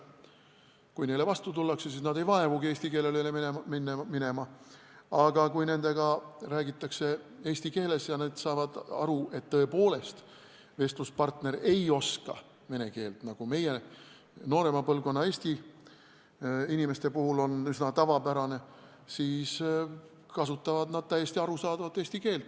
Kui neile vastu tullakse, siis nad ei vaevugi eesti keelele üle minema, aga kui nendega räägitakse eesti keeles ja nad saavad aru, et tõepoolest vestluspartner ei oska vene keelt, nagu noorema põlvkonna eestlaste puhul on üsna tavapärane, siis kasutavad nad täiesti arusaadavat eesti keelt.